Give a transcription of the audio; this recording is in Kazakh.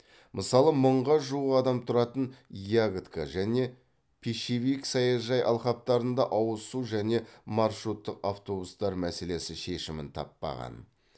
мысалы мыңға жуық адам тұратын ягодка және пищевик саяжай алқаптарында ауыз су және маршруттық автобустар мәселесі шешімін таппаған